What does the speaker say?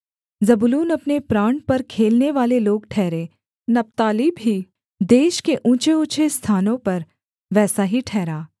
जबूलून अपने प्राण पर खेलनेवाले लोग ठहरे नप्ताली भी देश के ऊँचेऊँचे स्थानों पर वैसा ही ठहरा